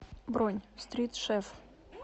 бронь стрит шеф